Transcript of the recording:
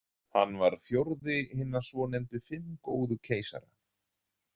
Hann var fjórði hinna svonefndu fimm góðu keisara.